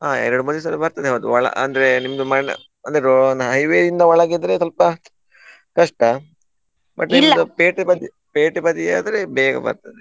ಹಾ ಎರ್ಡು ಮೂರೂ ದಿವ್ಸದಲ್ಲಿ ಬರ್ತದೆ ಅದು ಒಳ ಅಂದ್ರೆ ನಿಮ್ಮದು ಮನೆ ಅಂದ್ರೆ ro~ highway ಇಂದ ಒಳಗಿದ್ರೆ ಸ್ವಲ್ಪ ಕಷ್ಟ ಪೇಟೆ ಬದಿ ಪೇಟೆ ಬದಿ ಆದ್ರೆ ಬೇಗ ಬರ್ತದೆ.